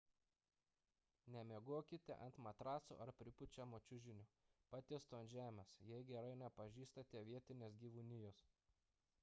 nemiegokite ant matraso ar pripučiamo čiužinio patiesto ant žemės jei gerai nepažįstate vietinės gyvūnijos